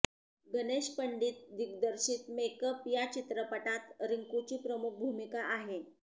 गणेश पंडित दिग्दर्शित मेकअप या चित्रपटात रिंकूची प्रमुख भुमिका आहे